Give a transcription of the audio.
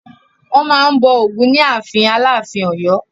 Wọ́n máa n bọ̀ Ògún ní ààfin Aláàfin Ọ̀yọ́